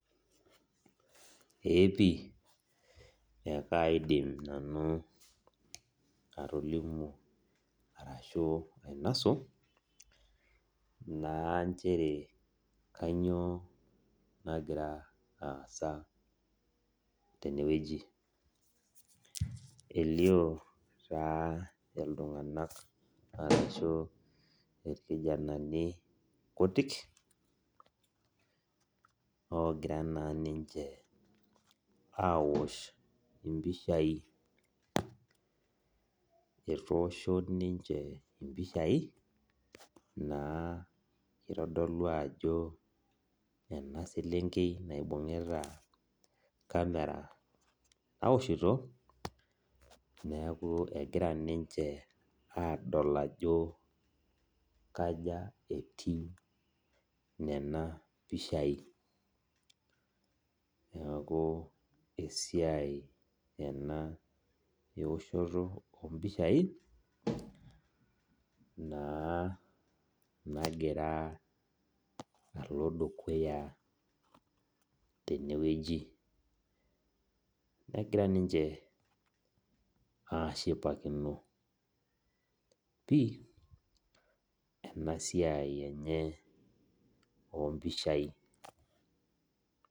Eepii ekaidim nanu atolimu arashu ainosu na nchere kanyio nagira aasa tenewueji elio taa ltunganak arashu irkijanani kutik ogira na ninche aosh mpishai etoosho ninche mpishai itadolu ajo enaselenkei naibungita camera naoshito neakibegira ninche adol ajo kaja etiu nona pishai neaku esiai ena eoshoto ompishai na nagira alo dukuya tenewueji negira ninche ashipakino pii enasiai enye ompishai.